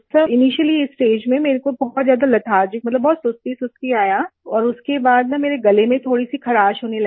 sir initially stage में मेरे को बहुत ज्यादा लेथार्जी मतलब बहुत सुस्तीसुस्ती आया और उसके बाद ना मेरे गले में थोड़ी सी खराश होने लगी